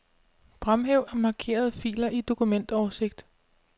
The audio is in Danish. Fremhæv markerede filer i dokumentoversigt.